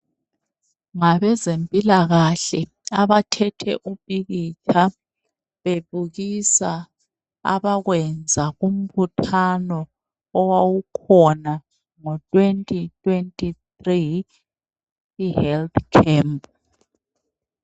Ngabezempilakahle abathethe umpikitsha bebukisa abakwenza kumbuthano owawukhona ngo twenti twenti thri, ihelthi khempu.